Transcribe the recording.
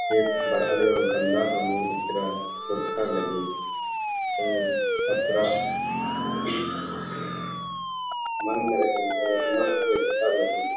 चेप बरआली और गंगा अम्मू इतरा ऊरखा लग्गी और अत्रा मन्न रइई और मस्त एथरालग्गी --